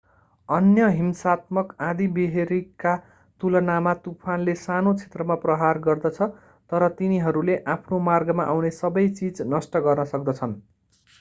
अन्य हिंसात्मक आँधीबेहरीका तुलनामा तुफानले सानो क्षेत्रमा प्रहार गर्दछ तर तिनीहरूले आफ्नो मार्गमा आउने सबै चिज नष्ट गर्न सक्दछन्